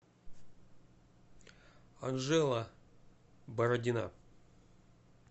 анжела бородина